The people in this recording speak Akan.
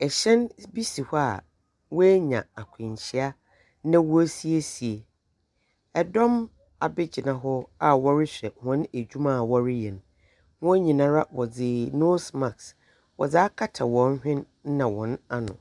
hyɛn bi si hɔ a oenya akwanhyia na worisiesie, dɔm ebegyina hɔ a wɔrohwɛ hɔn edwuma a wɔreyɛ no. Hɔn nyinara wɔdze nose mask wɔdze akata hɔn hwen na hɔn ano.